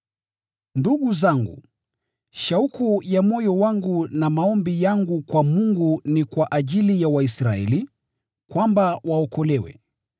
Ndugu zangu, shauku ya moyo wangu na maombi yangu kwa Mungu ni kwa ajili ya Waisraeli, kwamba waokolewe.